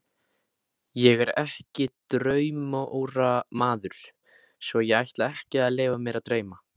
Ég er ekki draumóramaður, svo ég ætla ekki að leyfa mér að dreyma.